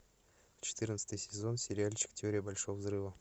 четырнадцатый сезон сериальчик теория большого взрыва